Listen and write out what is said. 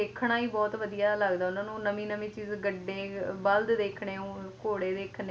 ਚੀਜਾਂ ਨੂੰ ਦੇਖਣਾ ਹੀ ਬਹੁਤ ਵਧੀਆ ਲੱਗਦਾ ਉਹਨਾਂ ਨੂੰ ਨਵੀਂ ਨਵੀਂ ਚੀਜ ਗੱਡੇ ਬਲਦ ਦੇਖਣੇ ਘੋੜੇ ਦੇਖਣੇ ਹਾਂਜੀ ਹਨਾਂ